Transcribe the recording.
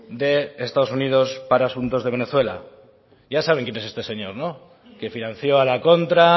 de estados unidos para asuntos de venezuela ya saben quién es este señor no que financió a la contra